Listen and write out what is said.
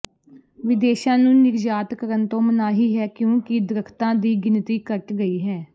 ਵਿਦੇਸ਼ਾਂ ਨੂੰ ਨਿਰਯਾਤ ਕਰਨ ਤੋਂ ਮਨਾਹੀ ਹੈ ਕਿਉਂਕਿ ਦਰਖਤਾਂ ਦੀ ਗਿਣਤੀ ਘੱਟ ਗਈ ਹੈ